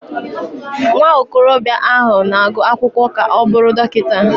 Nwa okorobịa ahụ na-agụ akwụkwọ ka ọ bụrụ Dọkịta.